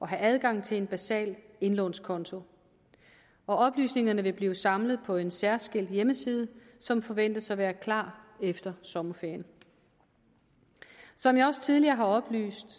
have adgang til en basal indlånskonto oplysningerne vil blive samlet på en særskilt hjemmeside som forventes at være klar efter sommerferien som jeg også tidligere har oplyst